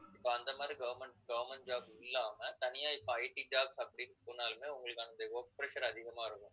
so அந்த மாதிரி government~government job இல்லாம தனியா இப்ப ITjobs அப்படின்னு போனாலுமே உங்களுக்கு அந்த work pressure அதிகமா இருக்கும்